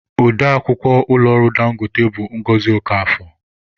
Ode akwukwọ ụlọ ọrụ Dangote bụ Ngọzi Okafor.